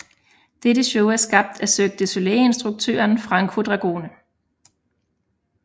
Dette show er skabt af Cirque du Soleil instruktøren Franco Dragone